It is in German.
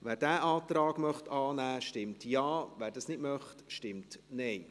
Wer diesen Antrag annehmen möchte, stimmt Ja, wer dies nicht möchte, stimmt Nein.